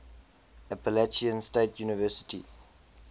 appalachian state university